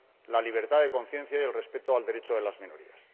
la libertad de conciencia y el respeto de los derechos de las minorías.